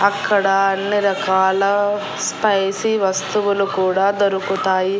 అక్కడ అన్నీ రకాల స్పైసీ వస్తువులు కూడా దొరుకుతాయి.